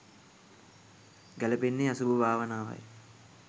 ගැළපෙන්නේ අසුභ භාවනාවයි.